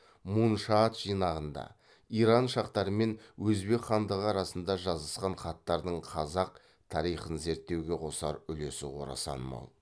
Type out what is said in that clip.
муншаат жинағында иран шахтары мен өзбек хандығы арасында жазысқан хаттардың қазақ тарихын зерттеуге қосар үлесі орасан мол